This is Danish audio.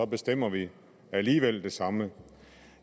bestemmer vi alligevel det samme